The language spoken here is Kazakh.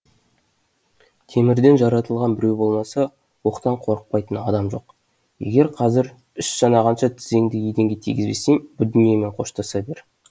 темірден жаратылған біреу болмаса оқтан қорықпайтын адам жоқ егер қазір үш санағанша тізеңді еденге тигізбесең бұ дүниемен қоштаса бер